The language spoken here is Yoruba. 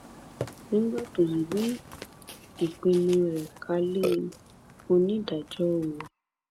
nígbà tó ń gbé ìpinnu rẹ kalé e onídàájọ o